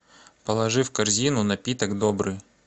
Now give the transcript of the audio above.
положи в корзину напиток добрый